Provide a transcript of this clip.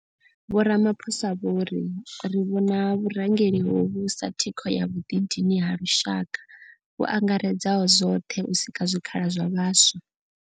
Vho Ramaphosa vho ri, ri vhona vhurangeli hovhu sa thikho ya vhuḓidini ha lushaka vhu angaredzaho zwoṱhe u sika zwikhala zwa vhaswa.